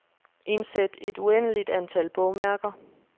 Indsæt et uendeligt antal bogmærker.